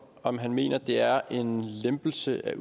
om han mener det er en lempelse af